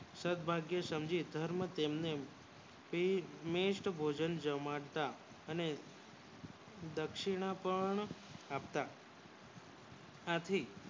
સદભાગ્ય સમજી ધર્મ તેને બેસ્ટ ભોજન જમાડતા અને પક્ષી ના કારણે આપતા આથી